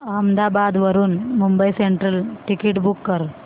अहमदाबाद वरून Mumbai central ticket book कर